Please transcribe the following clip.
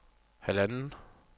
halvanden